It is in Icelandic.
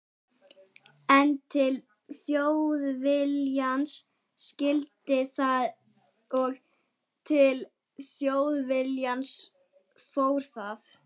En til Þjóðviljans skyldi það og til Þjóðviljans fór það.